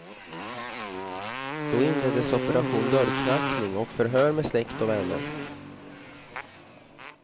Då inleddes operation dörrknackning och förhör med släkt och vänner.